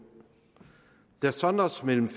der sondres mellem